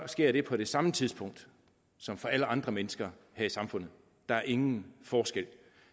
sker det på det samme tidspunkt som for alle andre mennesker her i samfundet der er ingen forskel